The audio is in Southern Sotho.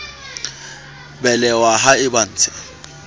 belehwa ha e ba ntshe